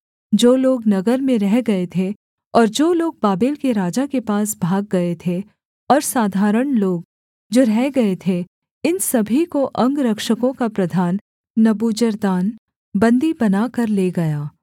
जो लोग नगर में रह गए थे और जो लोग बाबेल के राजा के पास भाग गए थे और साधारण लोग जो रह गए थे इन सभी को अंगरक्षकों का प्रधान नबूजरदान बन्दी बनाकर ले गया